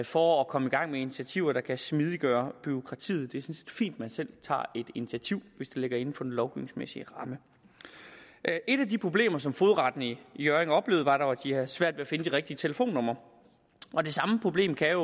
for at komme i gang med initiativer der kan smidiggøre bureaukratiet det er sådan set fint at man selv tager et initiativ hvis det ligger inden for den lovgivningsmæssige ramme et af de problemer som fogedretten i hjørring oplevede var dog at de havde svært ved at finde de rigtige telefonnumre og det samme problem kan jo